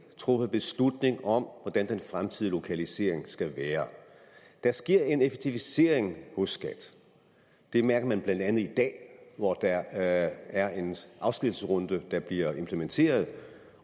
truffet beslutning om hvordan den fremtidige lokalisering skal være der sker en effektivisering hos skat det mærker man blandt andet i dag hvor der er en afskedsrunde at blive implementeret